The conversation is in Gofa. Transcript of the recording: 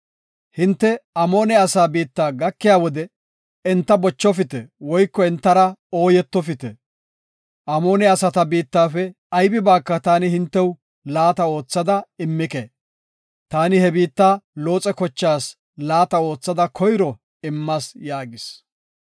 Hinte Amoone asaa biitta gakiya wode enta bochofite woyko entara ooyetofite. Amoone asata biittafe aybibaaka taani hintew laata oothada immike. Taani he biitta Looxe kochaas laata oothada koyro immas” yaagis.